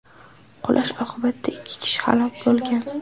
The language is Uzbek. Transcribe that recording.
Qulash oqibatida ikki kishi halok bo‘lgan.